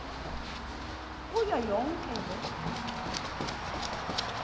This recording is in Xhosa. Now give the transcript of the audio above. kuyo yonke loo